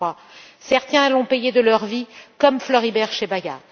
2003. Certains l'ont payé de leur vie, comme Floribert Chebeya.